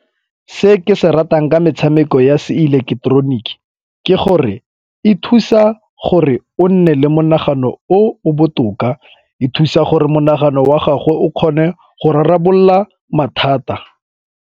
Se ke se ratang ka metshameko ya se ileketeroniki ke gore e thusa gore o nne le monagano o o botoka, e thusa gore monagano wa gagwe o kgone go rarabolola mathata.